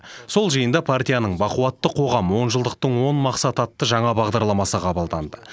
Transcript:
сол жиында партияның бақуатты қоғам онжылдықтың он мақсаты атты жаңа бағдарламасы қабылданды